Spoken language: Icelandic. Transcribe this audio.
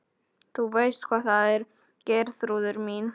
Þú veist hvað það er Geirþrúður mín.